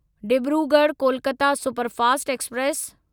Dibrugarh Kolkata superfast express